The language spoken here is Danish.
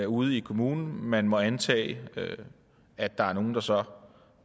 ude i kommunen og man må antage at der er nogle der så